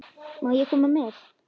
Má ég koma með?